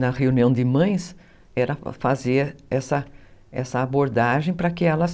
Na reunião de mães, era fazer essa abordagem para que elas...